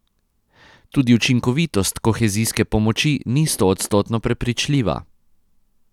Tudi učinkovitost kohezijske pomoči ni stoodstotno prepričljiva.